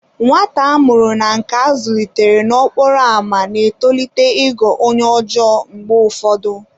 Nwata a mụrụ na nke a zụlitere n'okporo ámá na-etolite ịghọ onye ọjọọ mgbe ụfọdụ.